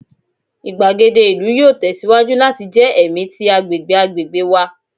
igbagede ilu yoo tẹsiwaju lati jẹ ẹmi ti agbegbe agbegbe wa